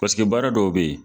Paseke baara dɔw be yen